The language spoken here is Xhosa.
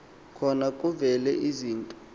khona kuvela izinto